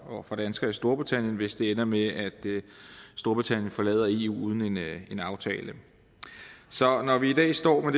og for danskere i storbritannien hvis det ender med at storbritannien forlader eu uden en aftale så når vi i dag står med